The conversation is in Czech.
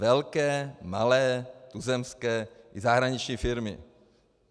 Velké, malé, tuzemské i zahraniční firmy.